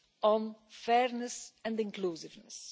focus on fairness and inclusiveness.